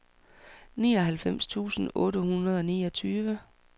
nioghalvfems tusind otte hundrede og niogtyve